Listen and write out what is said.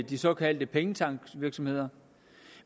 de såkaldte pengetanksvirksomheder